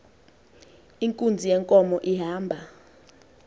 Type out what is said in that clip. inkunzi yenkomo ihamba